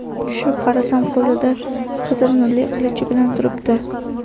Tushib qarasam, qo‘lida qizil nurli qilichi bilan turibdi.